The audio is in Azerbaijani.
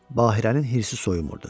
Bahirənin hirsi soyumurdu.